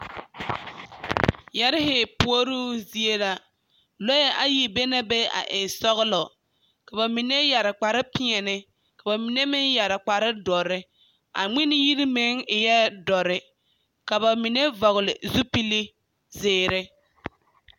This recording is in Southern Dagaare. Yԑrre puoruu zie la, lͻԑ ayi be na be a e sͻgelͻ, ka ba mine yԑre kpare peԑle ka ba mine meŋ yԑre kpare dõͻre. A ŋmene yiri meŋ eԑԑ dͻre, ka ba mine vͻgele zupili zeere.